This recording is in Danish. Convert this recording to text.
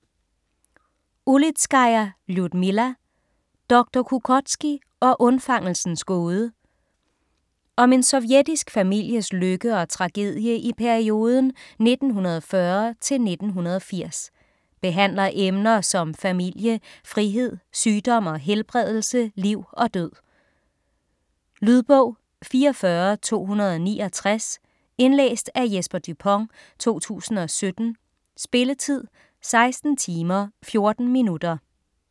Ulitskaja, Ljudmila: Doktor Kukótskij og undfangelsens gåde Om en sovjetisk families lykke og tragedie i perioden 1940-1980. Behandler emner som familie, frihed, sygdom og helbredelse, liv og død. Lydbog 44269 Indlæst af Jesper Dupont, 2017. Spilletid: 16 timer, 14 minutter.